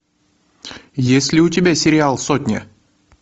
есть ли у тебя сериал сотня